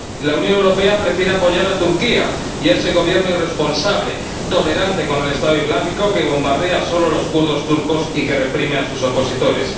La Unión Europea prefiere apoyar a Turquía y a ese Gobierno irresponsable, tolerante con el Estado Islámico, que bombardea solo a los kurdos turcos y que reprime a sus opositores.